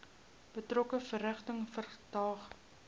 betrokke verrigtinge verdaag